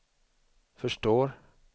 förstår